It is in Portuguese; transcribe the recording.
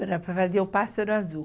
Para fazer o Pássaro Azul.